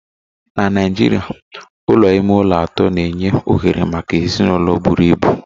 Na Naijiria Ụlọ ime ụlọ atọ na-enye ohere maka ezinụlọ buru ibu